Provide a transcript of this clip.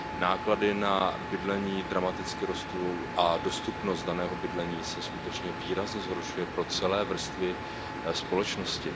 Náklady na bydlení dramaticky rostou a dostupnost daného bydlení se skutečně výrazně zhoršuje pro celé vrstvy společnosti.